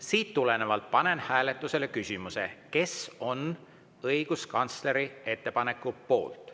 Siit tulenevalt panen hääletusele küsimuse, kes on õiguskantsleri ettepaneku poolt.